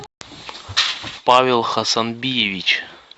павел хасанбиевич